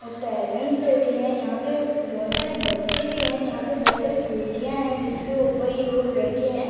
और पेरेंट्स बैठे हैं यहां पे बहोत सारे बच्चे भी हैं यहां पे बहोत सारी कुर्सियां है जिसके ऊपर ये लोग बैठे हैं।